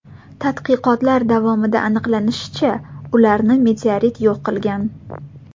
Tadqiqotlar davomida aniqlanishicha, ularni meteorit yo‘q qilgan.